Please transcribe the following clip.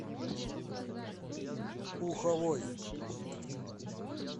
уховой